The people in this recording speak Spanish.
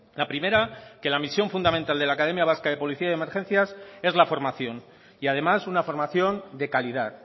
la primera que la misión fundamental de la academia vasca de policía y emergencias es la formación y además una formación de calidad